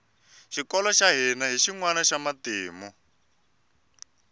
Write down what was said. xikolo xa hina hi xinwana xa matimu